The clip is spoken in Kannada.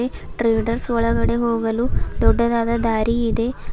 ಟ್ರೇಡರ್ಸ್ ಒಳಗಡೆ ಹೋಗಲು ದೊಡ್ಡದಾದ ದಾರಿ ಇದೆ .